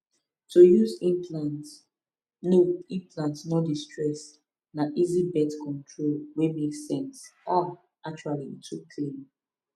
to use implant no implant no dey stress na easy birth control wey make sense ah actually e too clean